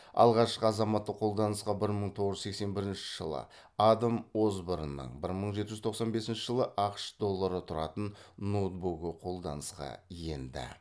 алғашқы азаматтық қолданысқа бір мың тоғыз жүз сексен бірінші жылы адам осборнның бір мың жеті жүз тоқсан бесінші жылы ақш доллары тұратын ноутбугі қолданысқа енді